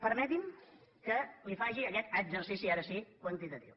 permeti’m que li faci aquest exercici ara sí quantitatiu